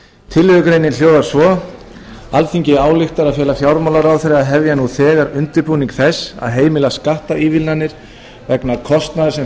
tillögugreinin hljóðar svo alþingi ályktar að fela fjármálaráðherra að hefja nú þegar undirbúning þess að heimila skattaívilnanir vegna kostnaðar sem